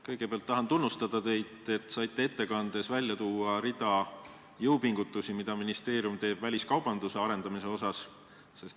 Kõigepealt tahan teid tunnustada: te saite ettekandes välja tuua rea jõupingutusi, mida ministeerium teeb väliskaubanduse arendamiseks.